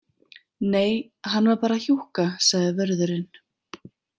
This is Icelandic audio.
Nei, hann var bara hjúkka, sagði vörðurinn.